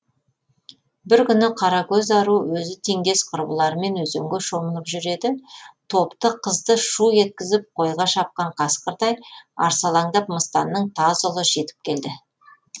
бір күні қаракөз ару өзі теңдес құрбыларымен өзенге шомылып жүр еді топты қызды шу еткізіп қойға шапқан қасқырдай арсалаңдап мыстанның таз ұлы жетіп келді